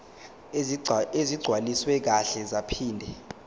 ezigcwaliswe kahle zaphinde